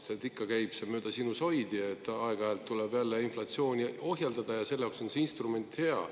See käib ikka mööda sinusoidi, aeg-ajalt tuleb jälle inflatsiooni ohjeldada, ja selle jaoks oleks see instrument hea.